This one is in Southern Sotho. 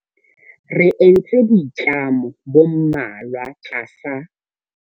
Re entse boitlamo bo mmalwa tlasa.